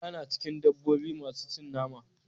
Kura na cikin dabobi masu cin nama.